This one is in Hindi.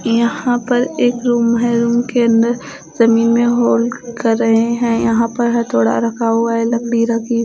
यहां पर एक रुम है। रुम के अन्दर जमीन में होल कर रहे हैं। यहां पर हथौड़ा रखा हुआ है लकड़ी रखी हुई--